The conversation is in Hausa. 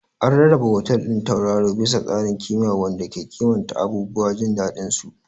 An rarraba otal ɗin tauraro bisa tsarin ƙima wanda ke kimanta abubuwan jin daɗinsu.